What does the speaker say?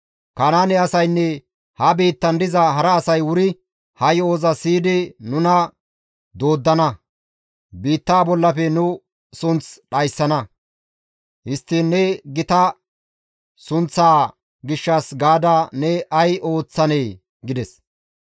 Kanaane asaynne ha biittan diza hara asay wuri ha yo7oza siyidi nuna dooddana; biitta bollafe nu sunth dhayssana; histtiin ne gita sunththaa gishshas gaada ne ay ooththanee?» gides.